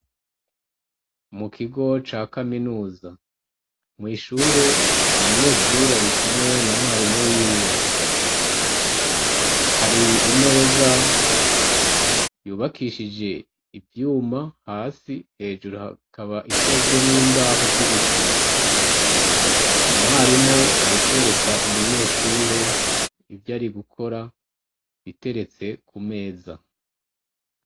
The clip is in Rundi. Mu kigo ca kaminuza mwishure umunyeshuri ari kumwe na mwarimu wiwe hari imeza yubakishije ivyuma hasi hejuru hakaba ikozwe n'imbaho z'ibiti mwarimu ari kwereka umunyeshure ivyo ari gukora biteretse ku meza.